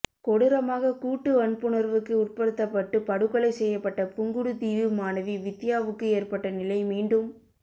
கொடூரமாக கூட்டு வன்புணர்வுக்கு உட்படுத்தப்பட்டு படுகொலை செய்யப்பட்ட புங்குடுதீவு மாணவி வித்தியாவுக்கு ஏற்பட்ட நிலை மீண்டும்